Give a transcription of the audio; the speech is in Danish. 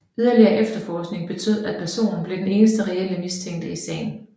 Yderligere efterforskning betød at personen blev den eneste reelle mistænkte i sagen